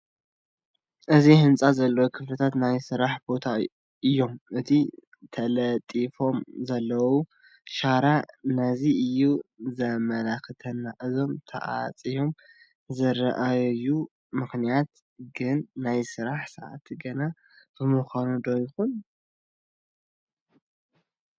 ኣብዚ ህንፃ ዘለዉ ክፍልታት ናይ ስራሕ ቦታ እዮም፡፡ እቲ ተለጢፉሎም ዘሎ ሻራ ነዚ እዩ ዘመላኽተና፡፡ ኩሎም ተዓፅዮም ዝርአዩሉ ምኽንያት ግን ናይ ስራሕ ሰዓት ገና ብምዃኑ ዶ ይኾን?